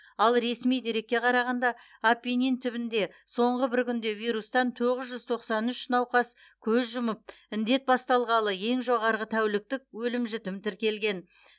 ал ресми дерекке қарағанда апеннин түбінде соңғы бір күнде вирустан тоғыз жүз тоқсан үш науқас көз жұмып індет басталғалы ең жоғарғы тәуліктік өлім жітім тіркелген